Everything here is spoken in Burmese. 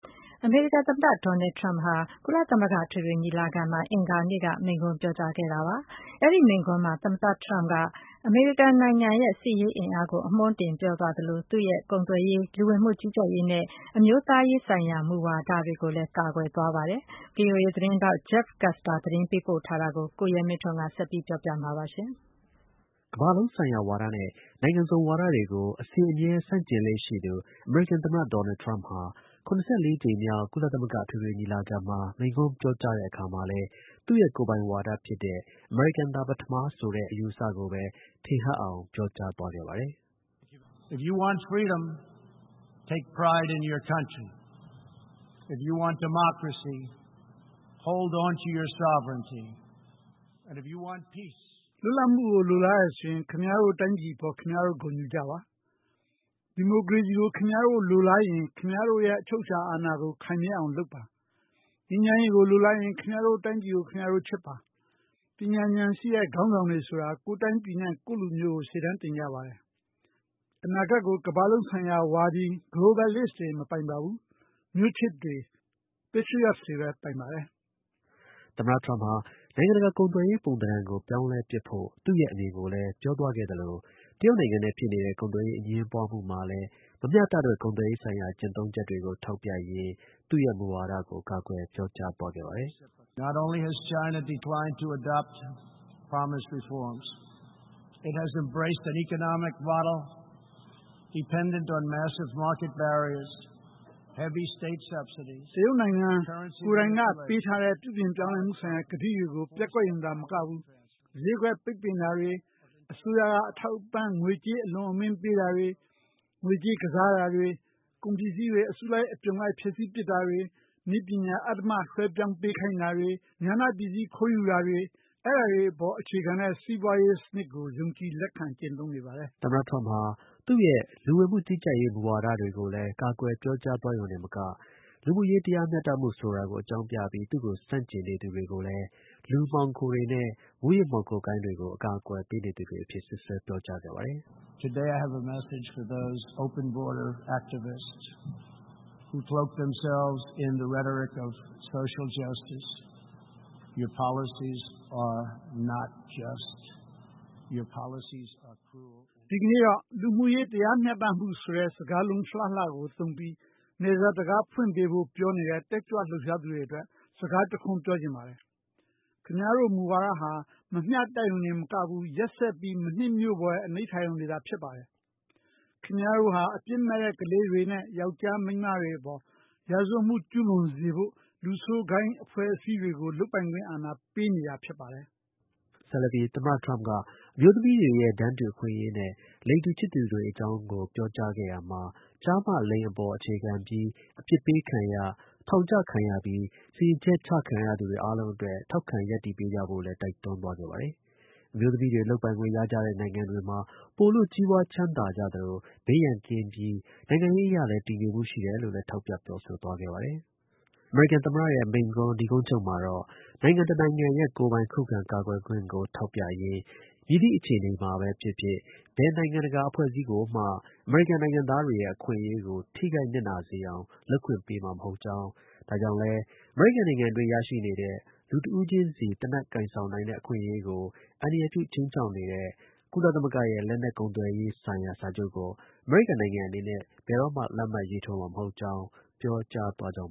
အမေရိကန် သမ္မတ ဒေါ်နယ်ထရမ့်ဟာ ကုလသမဂ္ဂ အထွေထွေ ညီလာခံမှာ အင်္ဂါနေ့က မိန့်ခွန်း ပြောကြားခဲ့ပါတယ်။ အဲဒီ မိန့်ခွန်းမှာ သမ္မတ ထရမ့်က အမေရိကန်နိုင်ငံရဲ့ စစ်ရေးအင်အားကို အမွှန်းတင် ပြောသွားသလို သူ့ရဲ့ ကုန်သွယ်ရေး၊ လူဝင်မှုကြီးကြပ်ရေးနဲ့ အမျိုးသား ရေးဆိုင်ရာ မူဝါဒတွေကိုလည်း ကာကွယ်သွားခဲ့ပါတယ်။ ဗွီအိုအေ သတင်းထောက် Jeff Custer သတင်းပေး ပို့ထားတာကို ကိုရဲမင်းထွန်းက ပြောပြပါမယ်။ ကမ္ဘာလုံးဆိုင်ရာ ဝါဒ (Globalism) နဲ့ နိုင်ငံစုံ ဝါဒ (Multilateralism) တွေကို အစဉ်အမြဲ ဆန့်ကျင်လေ့ရှိသူ အမေရိကန် သမ္မတ ဒေါ်နယ်ထရမ့်ဟာ ကုလသမဂ္ဂ ညီလာခံမှာ မိန့်ခွန်းပြောကြားတဲ့အခါမှာလည်း သူ့ရဲ့ကိုယ်ပိုင်ဝါဒဖြစ်တဲ့ “အမေရိကန်သာ ပထမ” ဆိုတဲ့ အယူအဆကိုပဲ ထင်ဟပ်အောင် ပြောကြားသွား ခဲ့ပါတယ်။ “လွတ်လပ်မှုကို လိုလားတယ်ဆိုရင် ခင်ဗျားတို့ တိုင်းပြည်အပေါ် ခင်ဗျားတို့ ဂုဏ်ယူကြပါ။ ဒီမိုကရေစီကို ခင်ဗျားတို့ လိုလားရင် ခင်ဗျား တို့ရဲ့ အချုပ်အခြာ အာဏာကို ခိုင်မြဲအောင်လုပ်ပါ။ ငြိမ်းချမ်းရေးကို လိုလားရင် ခင်ဗျားတို့ တိုင်းပြည်ကို ခင်ဗျားတို့ ချစ်ပါ။ ပညာဉာဏ်ရှိတဲ့ ခေါင်းဆောင်တွေဆိုတာ ကိုယ့်တိုင်းပြည်နဲ့ ကိုယ့်လူမျိုးကို ရှေ့တန်းတင် ကြတယ်။ အနာဂတ်ကို ကမ္ဘာလုံးဆိုင်ရာ ဝါဒီတွေ မပိုင်ဘူး၊ မျိုးချစ် တွေပဲ ပိုင်ကြတယ်။” သမ္မတ ထရမ့်ဟာ နိုင်ငံတကာ ကုန်သွယ်ရေး ပုံ သဏ္ဍာန်ကို ပြောင်းလဲပစ်ဖို့ သူ့ရဲ့ အမြင်ကိုလည်း ပြောသွားခဲ့သလို တရုတ်နဲ့ ဖြစ်နေတဲ့ ကုန်သွယ်ရေး အငြင်းပွားမှုမှာလည်း မမျှတတဲ့ ကုန်သွယ်ရေးဆိုင်ရာ ကျင့်သုံးချက်တွေကို ထောက်ပြရင်း သူ့ရဲ့ မူဝါဒကို ကာကွယ် ပြောကြား သွားခဲ့ပါတယ်။ “တရုတ်နိုင်ငံကိုယ်တိုင်က ပေးထားတဲ့ ပြုပြင်ပြောင်းလဲမှုဆိုင်ရာ ကတိတွေကို ပျက်ကွက်ရုံသာမကဘူး ဈေးကွက် ပိတ်ပင်တာတွေ၊ အစိုးရက ထောက်ပံ့ကြေးငွေ အလွန်အမင်း ပေးတာတွေ၊ ငွေကြေးကစားတာတွေ၊ ကုန်ပစ္စည်းတွေ အစုလိုက် အပုံလိုက် ဖျက်ဆီးပစ်တာတွေ၊ နည်းပညာ အဓမ္မ လွှဲပြောင်းပေးခိုင်းတာတွေ၊ ဉာဏ ပစ္စည်း ခိုးယူတာတွေ အဲဒါတွေ အပေါ် အခြေခံတဲ့ စီးပွားရေး စနစ်ကို ယုံကြည်လက်ခံ ကျင့်သုံးနေတယ်။” သမ္မတ ထရမ့်ဟာ သူ့ရဲ့ လူဝင်မှုကြီးကြပ်ရေး မူဝါဒတွေကိုလည်း ကာကွယ်ပြောကြားသွားရုံတင်မက လူမှုရေး တရားမျှတမှုဆိုတာကို အကြောင်းပြပြီး သူ့ကို ဆန့်ကျင်သူတွေကိုလည်း လူမှောင်ခိုတွေနဲ့ မူးယစ်မှောင်ခိုဂိုဏ်းတွေကို အကာအကွယ်ပေးနေသူတွေအဖြစ် စွပ်စွဲ ပြောကြားခဲ့ပါတယ်။ “ဒီကနေ့တော့ လူမှှုရေး တရားမျှတမှုဆိုတဲ့ စကားလုံးလှလှ သုံးပြီး နယ်စပ် တံခါး ဖွင့်ပေးဖို့ ပြောနေတဲ့ တက်ကြွလှုပ်ရှားသူအတွက် စကား တစ်ခွန်းပြောချင်တယ်။ ခင်ဗျားတို့ မူဝါဒဟာ မမျှတရုံတင်မကဘူး ရက်စက်ပြီး မနှစ်မြို့ဖွယ် အနိဋ္ဌာရုံတွေသာ ဖြစ်ပါတယ်။ ခင်ဗျားတို့ဟာ အပြစ်မဲ့ ကလေးတွေနဲ့ ယောက်ျား၊ မိန်းမတွေအပေါ် ရာဇဝတ်မှု ကျူးလွန်စေဖို့ လူဆိုးဂိုဏ်းအဖွဲ့အစည်းတွေကို လုပ်ပိုင်ခွင့် အာဏာ ပေးနေ ပါတယ်။” ဆက်လက်ပြီး သမ္မထရမ့်က အမျိုးသမီးတွေရဲ့ တန်းတူ အခွင့်အရေးနဲ့ လိင်တူ ချစ်သူတွေ အကြောင်းကိုလည်း ပြောခဲ့ရာမှာ ကျား၊ မ ၊လိင် အပေါ် အခြေခံပြီး အပြစ်ပေးခံရ၊ ထောင်ကျခံရပြီး စီရင်ချက်ချခံရသူတွေ အားလုံးအတွက် ထောက်ခံ ရပ်တည်ပေးကြဖို့ကိုလည်း တိုက်တွန်း သွားခဲ့ပါတယ်။ အမျိုးသမီးတွေ လုပ်ပိုင်ခွင့် ရကြတဲ့ နိုင်ငံတွေ ပိုလို့ ကြီးပွား ချမ်းသာသလို ဘေးရန်ကင်းပြီး နိုင်ငံရေးအရလည်း တည်ငြိမ်တယ် လို့ လည်း ထောက်ပြ ပြောဆိုသွားခဲ့ပါတယ်။ မိန့်ခွန်း နိဂုံးချုပ်မှာတော့ နိုင်ငံတစ်နိုင်ငံရဲ့ ကိုယ်ပိုင် ခုခံကာကွယ်ခွင့်ကို ထောက်ပြရင်း မည်သည့် အခြေအနေမှာပဲဖြစ်ဖြစ် ဘယ် နိုင်ငံ တကာအဖွဲ့အစည်းကိုမှ အမေရိကန် နိုင်ငံသားတွေရဲ့ အခွင့်အရေးကို ထိခိုက်နစ်နာအောင် လုပ်ခွင့်ပေးမှာ မဟုတ်ကြောင်း၊ ဒါကြောင့်လည်း အမေရိကန်နိုင်ငံအတွင်း ရရှိနေတဲ့ လူတစ်ဦးချင်းစီ သေနတ်ကိုင်ဆောင်နိုင်တဲ့ အခွင့်အရေးကို အန္တရာယ်ပြု ခြိမ်းခြောက်နေတဲ့ ကုလသမဂ္ဂရဲ့ လက်နက် ကုန်သွယ်ရေးဆိုင်ရာစာချုပ်ကို အမေရိကန်နိုင်ငံအနေနဲ့ ဘယ်တော့မှလက်မှတ်ရေးထိုးမှာ မဟုတ်ကြောင်း ပြောကြားသွားကြောင်